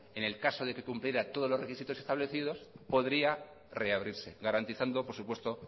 en el caso de que cumpliera todos los requisitos establecidos podría reabrirse garantizando por supuesto